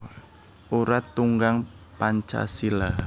Urat Tunggang Pancasila